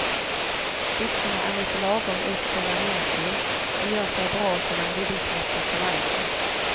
Byxorna är lite lagom utställda nertill och gör sig bra till den dubbelknäppta kavajen.